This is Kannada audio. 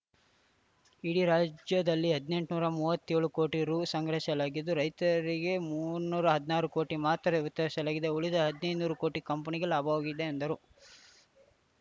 ಇಡೀ ರಾಜ್ಯದಲ್ಲಿ ಹದ್ನೆಂಟೂರ ಮೂವತ್ತೇಳು ಕೋಟಿ ರು ಸಂಗ್ರಹಿಸಲಾಗಿದ್ದು ರೈತರಿಗೆ ಮುನ್ನೂರ ಹದ್ನಾರು ಕೋಟಿ ರು ಮಾತ್ರ ವಿತರಿಸಲಾಗಿದೆ ಉಳಿದ ಹದ್ನೈದು ನೂರು ಕೋಟಿ ರು ಕಂಪನಿಗೆ ಲಾಭವಾಗಿದೆ ಎಂದರು